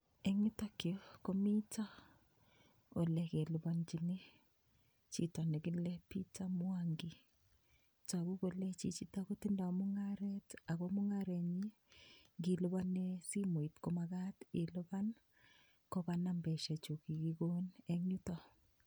Eng yutokyu komito olekelipanchini chito nekile peter mwangi. Togu kole chicitok kotindoi mung'aret ako mung'aranyi ngilipane simoit komakat kopa nambeshechu kikikon engyutok.